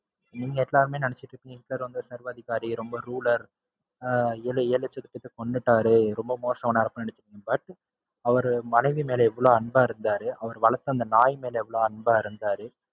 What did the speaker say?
நீங்க எல்லாருமே நினைச்சுருப்பீங்க ஹிட்லர் வந்து சர்வாதிகாரி, ரொம்ப rude ஆ இருப்பா~ அஹ் ஏழு லட்ச மக்கள கொன்னுட்டாரு ரொம்ப மோசமானவர் அப்படின்னு நினைச்சு~. but அவர் மனைவி மேல எவ்ளோ அன்பா இருந்தாரு. அவர் வளத்த அந்த நாய் மேல எவ்ளோ அன்பா இருந்தாரு.